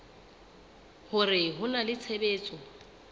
hore ho na le tshebetso